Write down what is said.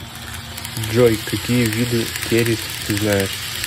джой какие виды керис ты знаешь